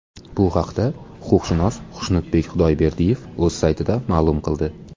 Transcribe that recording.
Bu haqda huquqshunos Xushnudbek Xudayberdiyev o‘z saytida ma’lum qildi .